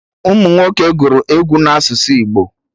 Ụmụnwoke gụrụ egwu na asụsụ Igbo